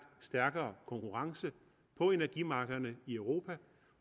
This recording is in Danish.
stærkere konkurrence på energimarkederne i europa